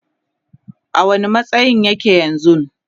a wani matsayin yake yanzun?